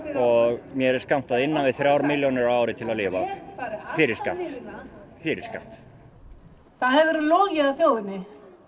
og mér er skammtað innan við þrjár milljónir á ári til að lifa fyrir skatt fyrir skatt það hefur verið logið að þjóðinni